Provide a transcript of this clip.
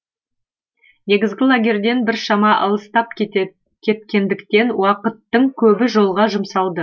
негізгі лагерьден біршама алыстап кеткендіктен уақыттың көбі жолға жұмсалды